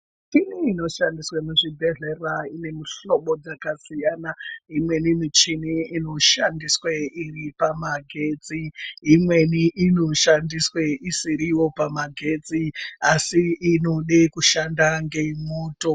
Michini inoshandiswe muzvibhedhlera ine mihlobo dzakasiyana imweni michini inoshandiswe iripamagetsi imweni inoshandiswe isiriwo pamagetsi asi inode kushanda ngemuto.